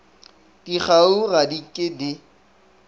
dikgaruru ga di ke di